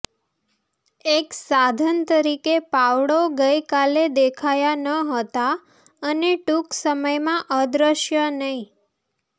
એક સાધન તરીકે પાવડો ગઈકાલે દેખાયા ન હતા અને ટૂંક સમયમાં અદૃશ્ય નહીં